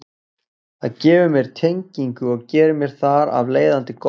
Það gefur mér tengingu og gerir mér þar af leiðandi gott.